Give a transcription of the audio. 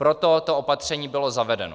Proto to opatření bylo zavedeno.